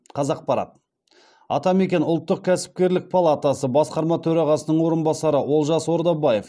қазақпарат атамекен ұлттық кәсіпкерлік палатасы басқарма төрағасының орынбасары олжас ордабаев